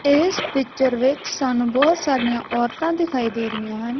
ਇਸ ਪਿਕਚਰ ਵਿੱਚ ਸਾਨੂੰ ਬਹੁਤ ਸਾਰੀਆਂ ਔਰਤਾਂ ਦਿਖਾਈ ਦੇ ਰਹੀਆਂ ਹਨ।